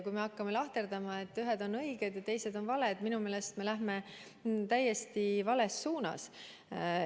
Kui me hakkame lahterdama, et ühed on õiged ja teised on valed, siis me minu meelest läheme täiesti vales suunas.